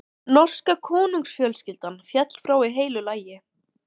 Norska konungsfjölskyldan féll frá í heilu lagi.